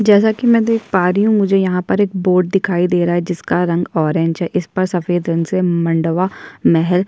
जेसा की मैं देख पा रहा हूं मुझे यहाँ पर एक बोर्ड दिखाई दे रहा है जिसका रंग ऑरेंज है। इस पर सफेद रंग से मंडवा महल--